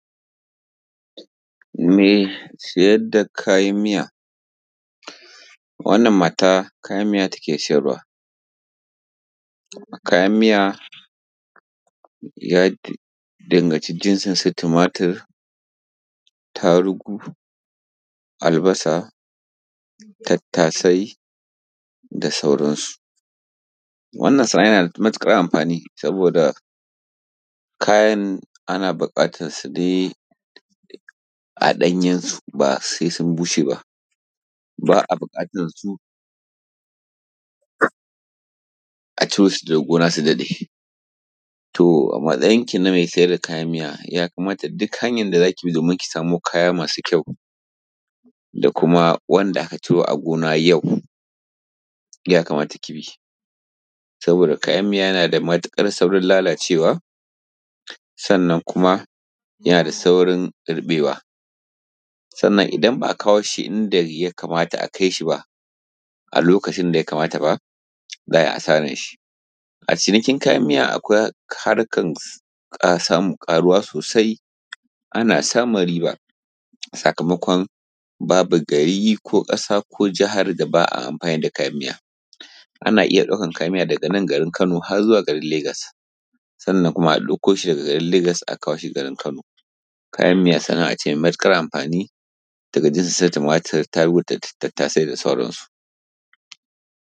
Mai sajar da kajan mija wannan mata kajan mija take sajarwa. Kajan mija ja danganʧi jinsin su tumartir, tarugu, albasa, tattasai da sauransu wannan sana`a jana da mutuƙar amɸani saboda kajan ana buƙatar su nee a ɗanjansu ba sai sun bushe ba Ba`a buƙatan su a ciro su daga goona su daɗe to a matsayin kii mai kayan miya ya kamata duk hanyan da zaki bi samo kaya masu kyau da kuma wanda aka ciro a goona yau ya kamata ki bi shi saboda kayan miya yana da matuƙar saurin lalacewa sannan kuma jana da saurin ruɓewa sannan idan ba`a kawo shi inda ja kamata a kai shi ba a lokaʧin da ja kamata ba za`a ji asaran shi a cinikin kayan miya akwai harkan samun ƙaruwa sosai ana samun riiba sakamakon babu garii ko ƙasa ko Jahar da ba`a amfani da kayan miya miya ana iya ɗaukan kayan miya daga nan garin kano har zuwa garin lagas sannan kuma a ɗauko shi daga garin legas a kawo shi garin kawo shi garin kano. kajan mija sana`a cee mai matuƙar amɸani daga jinsin tumatir, tarugu da tattasai da sauransu.